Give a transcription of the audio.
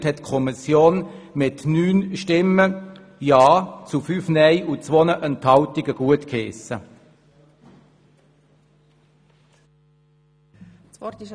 Die Kommission hat diese Ergänzung mit 9 Ja- zu 5 Nein-Stimmen bei 2 Enthaltungen gutgeheissen.